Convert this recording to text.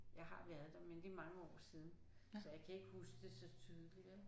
Jeg har været der men det er mange år siden så jeg kan ikke huske det så tydeligt vel